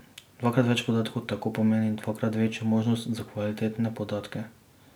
Dvakrat več podatkov tako pomeni dvakrat večjo možnost za kvalitetne podatke.